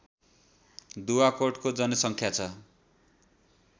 दुवाकोटको जनसङ्ख्या छ